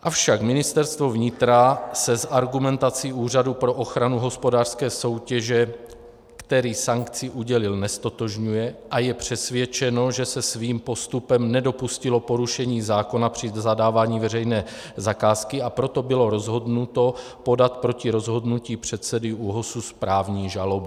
Avšak Ministerstvo vnitra se s argumentací Úřadu pro ochranu hospodářské soutěže, který sankci udělil, neztotožňuje a je přesvědčeno, že se svým postupem nedopustilo porušení zákona při zadávání veřejné zakázky, a proto bylo rozhodnuto podat proti rozhodnutí předsedy ÚOHS správní žalobu.